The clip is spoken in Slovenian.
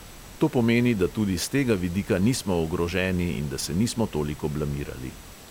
To pomeni, da tudi s tega vidika nismo ogroženi in da se nismo toliko blamirali.